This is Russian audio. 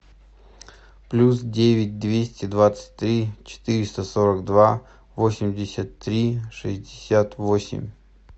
плюс девять двести двадцать три четыреста сорок два восемьдесят три шестьдесят восемь